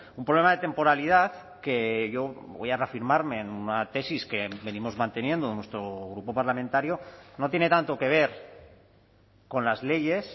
un problema de temporalidad que yo voy a reafirmarme en una tesis que venimos manteniendo nuestro grupo parlamentario no tiene tanto que ver con las leyes